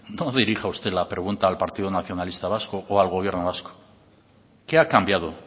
no dirija usted la pregunta al partido nacionalista vasco o al gobierno vasco qué ha cambiado